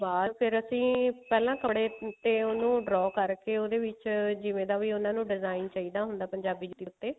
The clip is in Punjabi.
ਬਾਹਰ ਫ਼ੇਰ ਅਸੀਂ ਪਹਿਲਾਂ ਕੜੇ ਤੇ ਉਹਨੂੰ draw ਕਰਕੇ ਉਹਦੇ ਵਿੱਚ ਕੇ ਉਹਦੇ ਵਿੱਚ ਜਿਵੇਂ ਦਾ ਵੀ ਉਹਨਾ ਨੂੰ ਚਾਹੀਦਾ ਹੁੰਦਾ ਪੰਜਾਬੀ ਜੁੱਤੀ ਉੱਤੇ